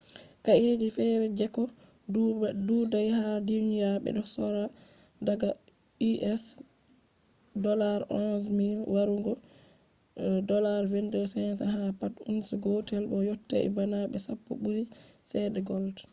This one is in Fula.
kaeji fere jeko dudai ha duniya, bedo sorra daga us$11,000 warugo $22,500 ha pat ounce gotel bo yotti bana de sappo buri chede gold